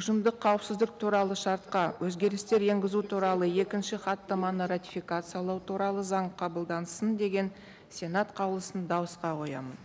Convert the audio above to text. ұжымдық қауіпсіздік туралы шартқа өзгерістер енгізу туралы екінші хаттаманы ратификациялау туралы заң қабылдансын деген сенат қаулысын дауысқа қоямын